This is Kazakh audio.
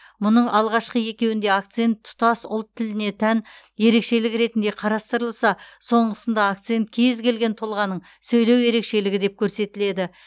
мұның алғашқы екеуінде акцент тұтас ұлт тіліне тән ерекшелік ретінде қарастырылса соңғысында акцент кез келген тұлғаның сөйлеу ерекшелігі деп көрсетіледі